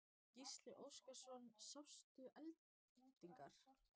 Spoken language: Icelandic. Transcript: Gísli Óskarsson: Sástu eldingar?